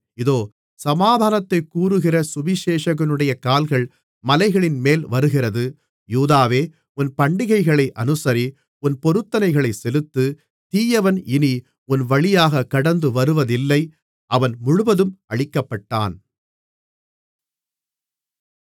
இதோ சமாதானத்தைக் கூறுகிற சுவிசேஷகனுடைய கால்கள் மலைகளின்மேல் வருகிறது யூதாவே உன் பண்டிகைகளை அனுசரி உன் பொருத்தனைகளைச் செலுத்து தீயவன் இனி உன் வழியாகக் கடந்துவருவதில்லை அவன் முழுவதும் அழிக்கப்பட்டான்